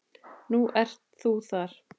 Nú ert þú þar.